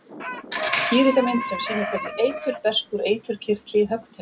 Skýringarmynd sem sýnir hvernig eitur berst úr eiturkirtli í höggtennur.